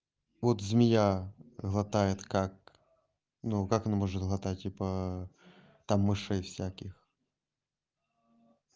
вот змея глотает как ну как она может кого-то типа там мышей всяких